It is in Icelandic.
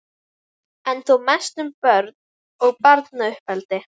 en þó mest um börn og barnauppeldi.